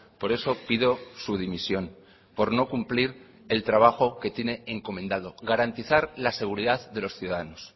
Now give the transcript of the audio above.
por eso pido su dimisión por no cumplir el trabajo que tiene encomendado garantizar la seguridad de los ciudadanos